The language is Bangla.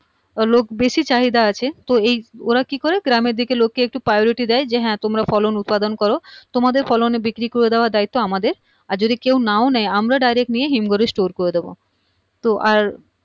লোক বেশি চাহিদা আছে তো এই ওরা কি করে গ্রামের দিকের লোককে একটু priority দেয় যে হা তোমরা ফলন উৎপাদন করো তোমাদের ফলনের বিক্রি করে দেয়ার দায়িত্ব আমাদের আর যদি কেউ নাও নেয় আমরা direct নিয়ে হিমঘরে store করে দেব তো আর